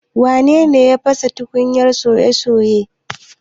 Wane ne ya fasa tukunyar soya soye?